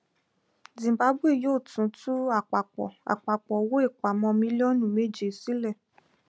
zimbabwe yóò tún tú àpapọ àpapọ owóìpamọ mílíọnù méje sílẹ